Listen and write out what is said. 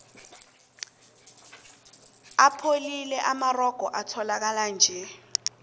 apholile amarogo etholakalanje